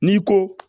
N'i ko